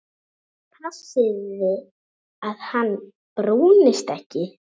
Passið að hann brúnist ekki.